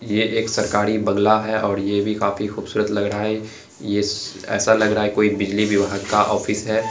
ये एक सरकारी बँगला है और ये भी काफी खूबसूरत लग रहा है ये ऐसा लग रहा है की कोई बिजली विभाग का ऑफिस है।